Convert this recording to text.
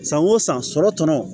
San o san sɔrɔ tɔnɔ